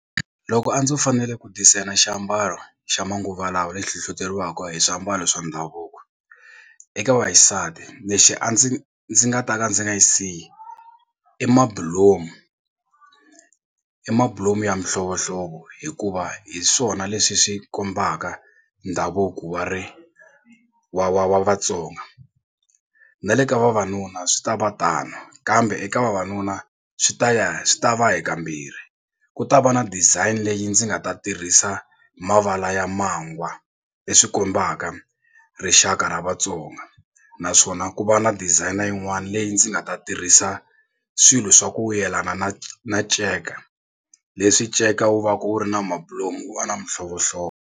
Loko a ndzo fanele ku designer xiambalo xa manguva lawa lexi hlohloteriwaka hi swiambalo swa ndhavuko eka vaxisati lexi a ndzi ndzi nga ta ka ndzi nga xi siyi i mabulomu i mabulomu ya mihlovohlovo hikuva hi swona leswi swi kombaka ndhavuko wa ri wa wa wa Vatsonga na le ka vavanuna swi ta va tano kambe eka vavanuna swi ta va swi ta va hi kambirhi ku ta va na design leyi ndzi nga ta tirhisa mavala ya mangwa leswi kombaka rixaka ra Vatsonga naswona ku va na designer yin'wana leyi ndzi nga ta tirhisa swilo swa ku yelana na na nceka leswi nceka wu va ka wu ri na mabulomu wu va na mihlovohlovo.